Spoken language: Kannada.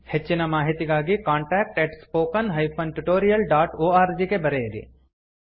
ಹೆಚ್ಚಿನ ಮಾಹಿತಿಗಾಗಿ contactspoken tutorialorg ಗೆ ಬರೆಯಿರಿ